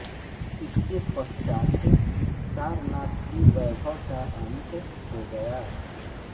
इसके पश्चात् सारनाथ की वैभव का अंत हो गया